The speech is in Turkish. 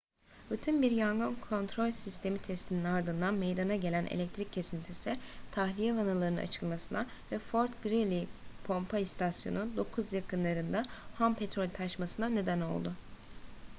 rutin bir yangın kontrol sistemi testinin ardından meydana gelen elektrik kesintisi tahliye vanalarının açılmasına ve fort greely pompa istasyonu 9 yakınlarında ham petrol taşmasına neden oldu